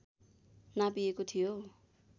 नापिएको थियो